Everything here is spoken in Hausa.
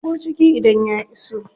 Ya shigo ciki idan ya iso.